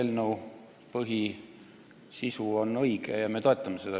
Selle eelnõu põhisisu on õige ja me toetame seda.